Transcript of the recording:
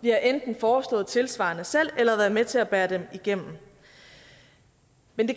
vi har enten foreslået noget tilsvarende selv eller været med til at bære dem igennem men